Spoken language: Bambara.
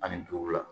Ani duuru la